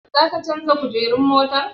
Za ka canja kujerun motar?